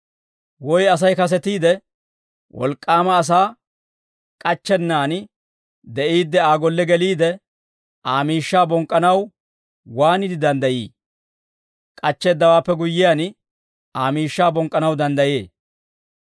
«Woy Asay kasetiide, wolk'k'aama asaa k'achchennaan de'iidde, Aa golle geliide, Aa miishshaa bonk'k'anaw waaniide danddayii? K'achcheeddawaappe guyyiyaan, Aa miishshaa bonk'k'anaw danddayee.